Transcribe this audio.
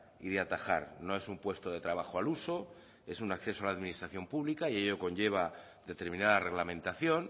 y de atajar no es un puesto de trabajo al uso es un acceso a la administración pública y ello conlleva determinada reglamentación